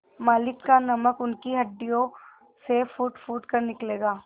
मालिक का नमक उनकी हड्डियों से फूटफूट कर निकलेगा